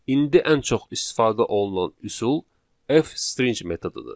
İndi ən çox istifadə olunan üsul F-string metodudur.